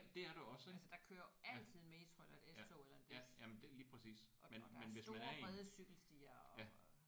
Altså der kører jo altid en metro eller et s-tog eller en bus og og der er store brede cykelstier og